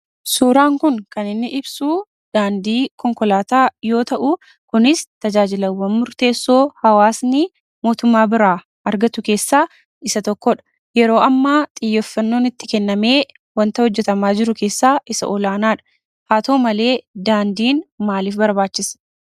Suuraan kun kan inni ibsuu daandii konkolaataa yoo ta'uu, kunis tajaajilawwan murteessoo hawaasni mootummaa biraa argatu keessaa isa tokkodha. Yeroo ammaa xiyyeeffannoon itti kennamee wanta hojjatamaa jiru keessaa isa tokkodha. Haa ta'u malee, daandiin maaliif barbaachise?